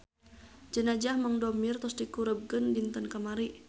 Jenazah Mang Domir tos dikurebkeun dinten kamari